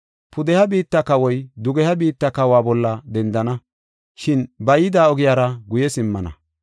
Pudeha biitta kawoy dugeha biitta kawa bolla dendana; shin ba yida ogiyara guye simmana.